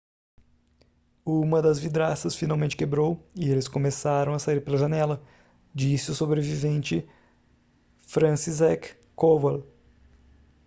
uma das vidraças finalmente quebrou e eles começaram a sair pela janela disse o sobrevivente franciszek kowal